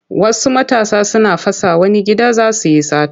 Wasu matasa suna fasa wani gida za su yi sata.